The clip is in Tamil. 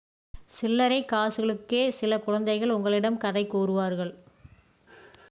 சில்லரை காசுகளுக்கே சில குழந்தைகள் உங்களிடம் கதை கூறுவார்கள்